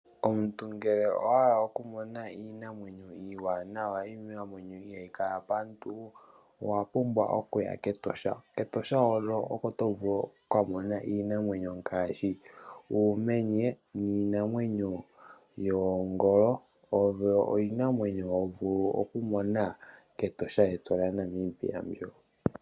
Omuntu ngele owahala okumona Iinamwenyo iwanawa Iinamwenyo ihayikala paantu owapumbwa okuya ketosha, ketosha hono oko tovulu okumona Iinamwenyo ngashi, uumenye, ninamwenyo yoogolo oyo Iinamwenyo hovulu okumona ketosha lyeyu lya Namibia mbyo.